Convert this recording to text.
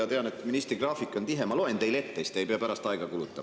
Ma tean, et ministri graafik on tihe, nii et ma loen teile ette, siis te ei pea pärast aega kulutama.